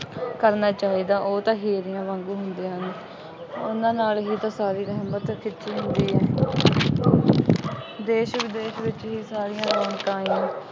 ਕਰਨਾ ਚਾਹੀਦਾ। ਉਹ ਤਾਂ ਸ਼ੇਰਨੀਆਂ ਵਾਂਗੂੰ ਹੁੰਦੀਆਂ ਹਨ। ਉਹਨਾ ਨਾਲ ਵੀ ਤਾਂ ਸਾਰੀ ਅਲਮਤ ਕੀਤੀ ਹੁੰਦੀ ਹੈ। ਦੇਸ਼ ਵਿਦੇਸ਼ ਵਿੱਚ ਹੀ ਸਾਰੀਆਂ ਰੌਣਕਾਂ ਆਈਆਂ।